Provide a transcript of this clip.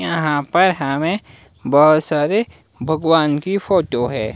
यहां पर हमें बहोत सारे भगवान की फोटो है।